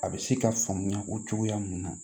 A bɛ se ka faamuya o cogoya mun na